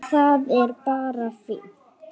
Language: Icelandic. Það er bara fínt!